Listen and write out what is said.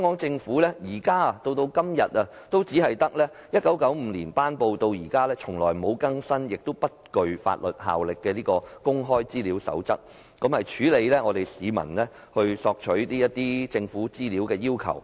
政府一直以來只依據1995年頒布、既不曾更新亦不具法律效力的《公開資料守則》，處理市民索取政府資料的要求。